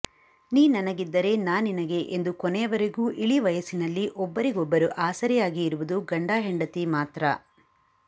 ನೀ ನನಗಿದ್ದರೆ ನಾ ನಿನಗೆ ಎಂದು ಕೊನೆಯವರೆಗೂ ಇಳಿವಯಸ್ಸಿನಲ್ಲಿ ಒಬ್ಬರಿಗೊಬ್ಬರು ಆಸರೆಯಾಗಿ ಇರುವುದು ಗಂಡ ಹೆಂಡತಿ ಮಾತ್ರ